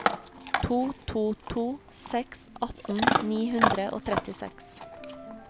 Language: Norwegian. to to to seks atten ni hundre og trettiseks